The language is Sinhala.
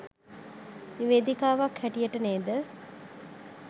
නිවේදිකාවක් හැටියට නේද